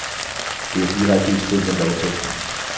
Det er direkte i strid med lovteksten.